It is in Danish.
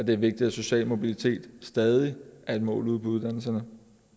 det er vigtigt at social mobilitet stadig er et mål ude på uddannelserne